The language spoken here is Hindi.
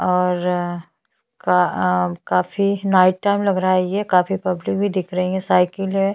और का आ काफी नाइट टाइम लग रहा है ये काफी पब्लिक भी दिख रही है साइकिल है।